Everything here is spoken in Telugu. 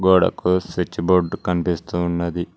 అక్కడ ఒక స్విచ్ బోర్డు కనిపిస్తూ ఉన్నది.